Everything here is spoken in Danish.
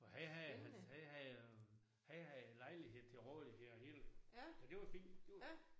Og han havde han havde han havde lejlighed til rådighed og hele så det var fint det var